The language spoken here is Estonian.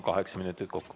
Kaheksa minutit kokku.